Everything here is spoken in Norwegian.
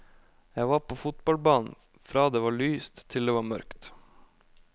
Jeg var på fotballbanen fra det var lyst til det var mørkt.